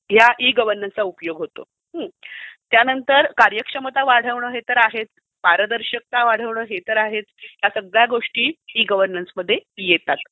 या ई गव्हर्नन्सचा उपयोग होतो. त्यानंतर कार्यक्षमता वाढवणे हे तर आहेच. पारदर्शकता वाढवणे हे तर आहेच. या सगळ्या गोष्टी ई गव्हर्नन्समध्ये येतात.